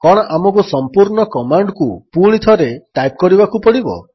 କଣ ଆମକୁ ସମ୍ପୂର୍ଣ୍ଣ କମାଣ୍ଡକୁ ପୁଣିଥରେ ଟାଇପ୍ କରିବାକୁ ପଡ଼ିବ